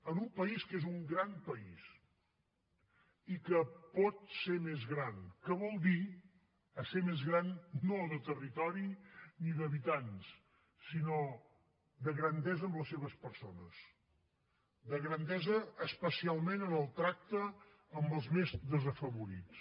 en un país que és un gran país i que pot ser més gran que vol dir esser més gran no de territori ni d’habitants sinó de grandesa amb les seves persones de grandesa especialment en el tracte amb els més desafavorits